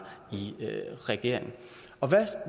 i regering